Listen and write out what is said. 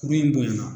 Kuru in bonyana